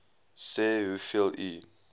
sê hoeveel u